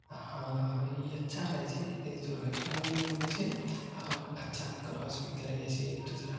हा ये अच्छा रहई छे इस दुर्घटना भी नई होई छे और अच्छा से क्रॉस भी करयै छे एक दूसरा पर --